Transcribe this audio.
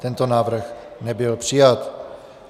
Tento návrh nebyl přijat.